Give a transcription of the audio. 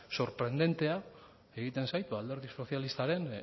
sorprendentea egiten zait alderdi sozialistaren